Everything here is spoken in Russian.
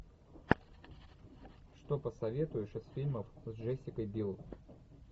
что посоветуешь из фильмов с джессикой бил